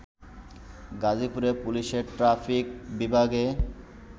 গাজীপুরে পুলিশের ট্রাফিক বিভাগে